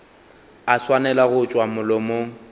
a swanela go tšwa molomong